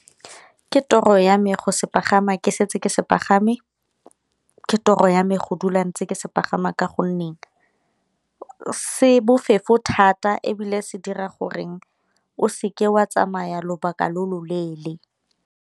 Ke toro ya me go se pagama ke setse ke se pagame, ke toro ya me go dula ntse ke se pagama ka gonne se bofefo thata ebile se dira goreng o seke wa tsamaya lobaka lo lo leele.